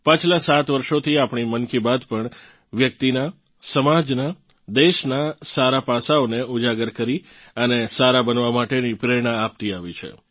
પાછલાં સાત વર્ષોથી આપણી મન કી બાત પણ વ્યક્તિનાં સમાજનાં દેશનાં સારા પાસાંઓને ઉજાગર કરી અને સારાં બનવાં માટેની પ્રેરણા આપતી આવી છે